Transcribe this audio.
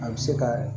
A bɛ se ka